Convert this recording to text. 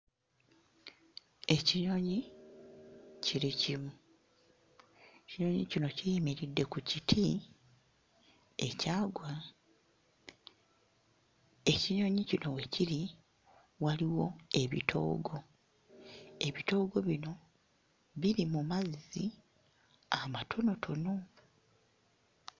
Ekinyonyi kiri kimu, ekinyonyi kino kiyimiridde ku kiti ekyagwa. Ekinyonyi kino we kiri waliwo ebitoogo ebitoogo bino biri mu mazzi amatonotono.